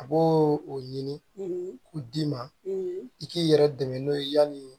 A b'o o ɲini k'o d'i ma i k'i yɛrɛ dɛmɛ n'o ye yanni